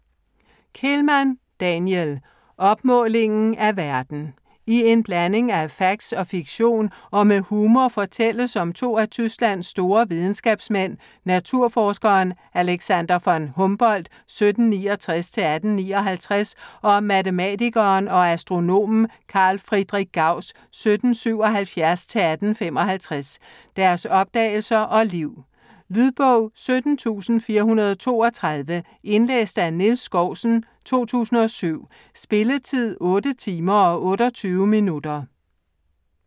Kehlmann, Daniel: Opmålingen af verden I en blanding af facts og fiktion og med humor fortælles om to af Tysklands store videnskabsmænd, naturforskeren Alexander von Humboldt (1769-1859) og matematikeren og astronomen Carl Friedrich Gauss (1777-1855), deres opdagelser og liv. Lydbog 17432 Indlæst af Niels Skousen, 2007. Spilletid: 8 timer, 28 minutter.